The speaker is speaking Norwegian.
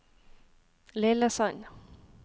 Lillesand